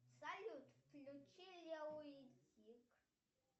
салют включи лео и тиг